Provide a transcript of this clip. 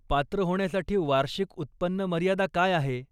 पात्र होण्यासाठी वार्षिक उत्पन्न मर्यादा काय आहे?